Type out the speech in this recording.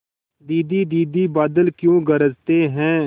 दीदी दीदी बादल क्यों गरजते हैं